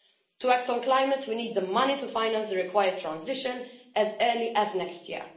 To act on climate we need the money to finance the required transition as early as next year.